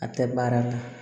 A tɛ baara la